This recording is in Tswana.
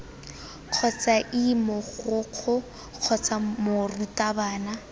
kgotsa ii mogokgo kgotsa morutabana